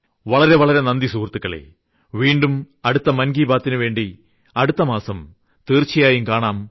വളരെ വളരെ നന്ദി സുഹൃത്തുക്കളേ വീണ്ടും അടുത്ത മൻ കി ബാതിനുവേണ്ടി അടുത്ത മാസം തീർച്ചയായും കാണാം